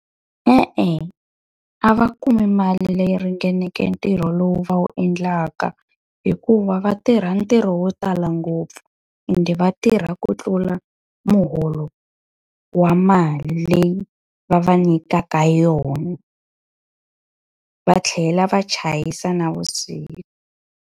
E-e a va kumi mali leyi ringaneke ntirho lowu va wu endlaka hikuva va tirha ntirho wo tala ngopfu, ende va tirha ku tlula muholo wa mali leyi va va nyikaka yona. Va tlhela va chayisa navusiku.